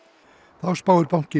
þá spáir bankinn